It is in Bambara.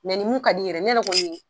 ni mun ka di yɛrɛ ye, ne yɛrɛ kɔni